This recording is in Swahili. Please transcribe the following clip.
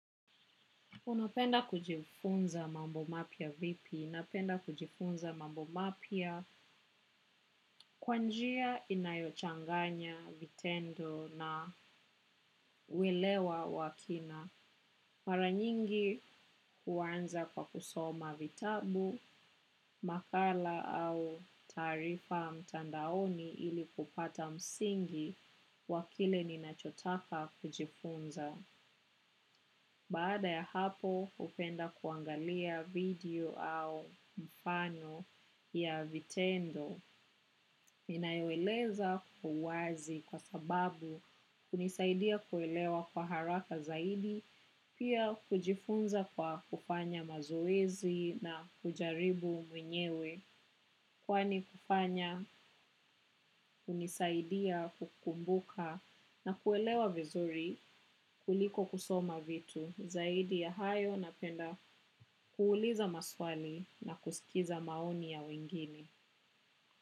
Unapenda kujifunza mambo mapya vipi. Napenda kujifunza mambo mapya kwa njia inayochanganya vitendo na welewa wakina. Mara nyingi huanza kwa kusoma vitabu, makala au taarifa mtandaoni ili kupata msingi wa kile ninachotaka kujifunza. Baada ya hapo, hupenda kuangalia video au mfano ya vitendo. Inayoeleza uwazi kwa sababu kunisaidia kuelewa kwa haraka zaidi, pia kujifunza kwa kufanya mazoezi na kujaribu mwenyewe. Kwani kufanya hunisaidia kukumbuka na kuelewa vizuri kuliko kusoma vitu zaidi ya hayo napenda kuuliza maswali na kusikiza maoni ya wengine.